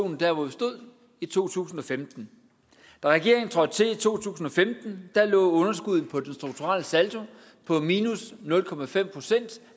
der hvor vi stod i to tusind og femten da regeringen trådte til i to tusind og femten lå underskuddet på den strukturelle saldo på nul procent